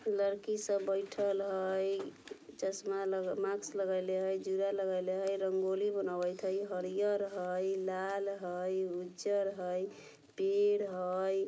फिर लरकी सब बईठल हई| चश्मा लग मास्क लगइले हई ज़ुरा लगइले हई रंगोली बनावत हई हरियर हई लाल हई उज्जर हई पेड़ हई।